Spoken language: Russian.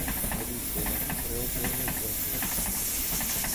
алиса найди сериал черное зеркало